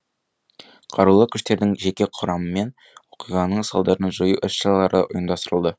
қарулы күштердің жеке құрамымен оқиғаның салдарын жою іс шаралары ұйымдастырылды